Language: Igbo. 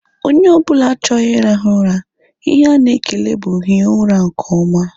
Onye ọbụla chọrọ irahu ụra, ihe ana ekele bụ hie ụra nke oma